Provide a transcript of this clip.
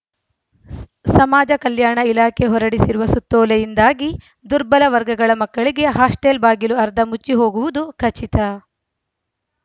ಸಮಾಜ ಕಲ್ಯಾಣ ಇಲಾಖೆ ಹೊರಡಿಸಿರುವ ಸುತ್ತೋಲೆಯಿಂದಾಗಿ ದುರ್ಬಲ ವರ್ಗಗಳ ಮಕ್ಕಳಿಗೆ ಹಾಸ್ಟೆಲ್‌ ಬಾಗಿಲು ಅರ್ಧ ಮುಚ್ಚಿ ಹೋಗುವುದು ಖಚಿತ